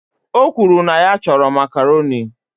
O kwuru na ya chọrọ Makaroni